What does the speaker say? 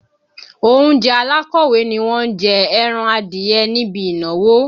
Oúnjẹ alákọ̀wé ni wọ́n jẹ ẹran adìẹ níbi ìnáwó